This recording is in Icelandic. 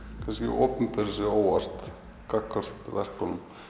opinberi sig óvart gagnvart verkunum